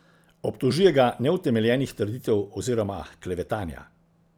Obtožuje ga neutemeljenih trditev oziroma klevetanja.